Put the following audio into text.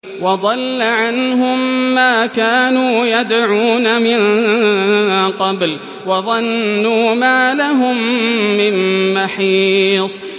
وَضَلَّ عَنْهُم مَّا كَانُوا يَدْعُونَ مِن قَبْلُ ۖ وَظَنُّوا مَا لَهُم مِّن مَّحِيصٍ